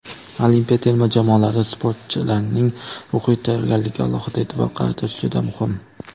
Olimpiya terma jamoalari sportchilarining ruhiy tayyorgarligiga alohida e’tibor qaratish juda muhim.